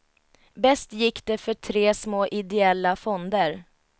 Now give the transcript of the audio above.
Bäst gick det för tre små ideella fonder.